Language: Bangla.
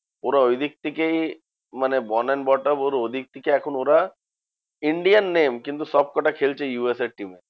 ওরা ঐদিক থেকেই মানে born and brought up ওর ওদিক থেকে এখন ওরা Indian name কিন্তু সবকটা খেলছে ইউ এস এ র team এ।